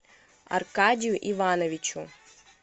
аркадию ивановичу